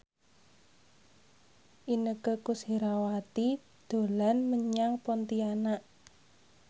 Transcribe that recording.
Inneke Koesherawati dolan menyang Pontianak